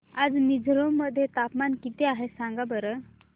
आज मिझोरम मध्ये तापमान किती आहे सांगा बरं